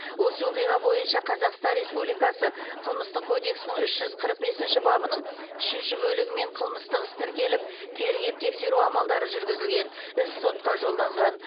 осы оқиға бойынша қазақстан республикасы қылмыстық кодексінің үш жүз қырық бесінші бабының үшінші бөлігімен қылмыстық іс тіркеліп тергеп тексеру амалдары жүргізілген іс сотқа жолданған